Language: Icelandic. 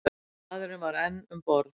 Maðurinn var enn um borð.